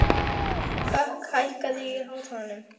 Hlökk, hækkaðu í hátalaranum.